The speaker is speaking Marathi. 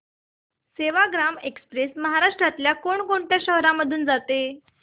सेवाग्राम एक्स्प्रेस महाराष्ट्रातल्या कोण कोणत्या शहरांमधून जाते